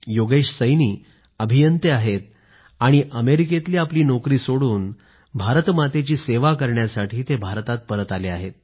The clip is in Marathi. योगेश सैनी अभियंते आहेत आणि अमेरिकेतली आपली नोकरी सोडून भारतमातेची सेवा करण्यासाठी भारतात परत आले आहेत